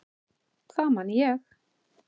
Það man ég.